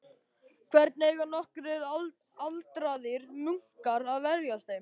Hvernig eiga nokkrir aldraðir munkar að verjast þeim?